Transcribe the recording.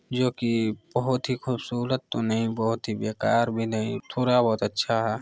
जो की बहुत ही खुबसूरत तो नहीं बहुत ही बेकार भी नहीं थोडा-बहुत अच्छा है।